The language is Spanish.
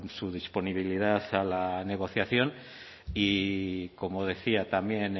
su disponibilidad a la negociación y como decía también